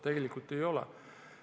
Tegelikult nii ei ole.